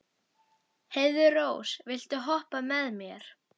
Heiðrós, viltu hoppa með mér?